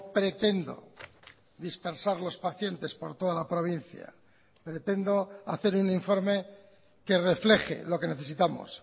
pretendo dispersar los pacientes por toda la provincia pretendo hacer un informe que refleje lo que necesitamos